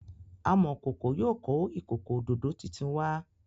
Amokoko yóò kọ ikoko ododo títún wá.